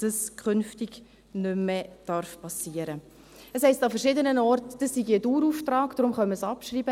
Es heisst an verschiedenen Stellen, dies sei ein Dauerauftrag, darum könne man es abschreiben.